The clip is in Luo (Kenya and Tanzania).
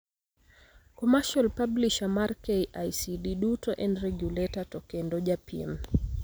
Commrcial publisher mar KICD duto en regulator to kendo japiem.